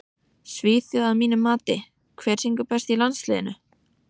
Svíþjóð að mínu mati Hver syngur best í landsliðinu?